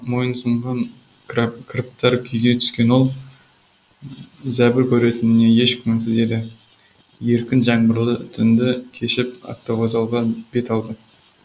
мойынсұнған кіріптар күйге түскен ол зәбір көретініне еш күмәнсіз еді еркін жаңбырлы түнді кешіп автовокзалға бет алды